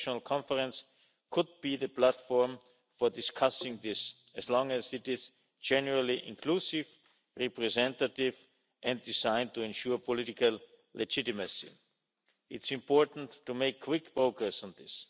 A national conference could be the platform for discussing this as long as it is generally inclusive, representative and designed to ensure political legitimacy. It's important to make quick progress on this.